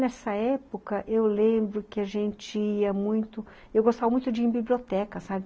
Nessa época, eu lembro que a gente ia muito... Eu gostava muito de ir em biblioteca, sabe?